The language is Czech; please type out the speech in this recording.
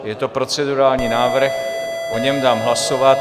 Je to procedurální návrh, o něm dám hlasovat.